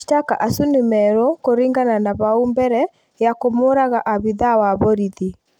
Mashtaka acu nĩ merũ kuringana na bau mbere ya kũmũraga abitha wa borithi